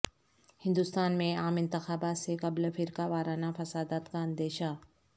ہندوستان میں عام انتخابات سے قبل فرقہ وارانہ فسادات کا اندیشہ